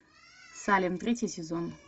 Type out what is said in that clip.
салем третий сезон